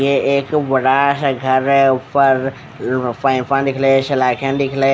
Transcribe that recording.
ये एक बड़ा सा घर है ऊपर फ फै फ दिखरे सलाखे दिखरे --